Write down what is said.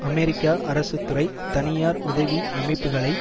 America அரசு துறை தனியார் உதவி அமைப்புக்களை